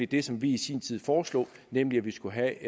det som vi i sin tid foreslog nemlig at vi skulle have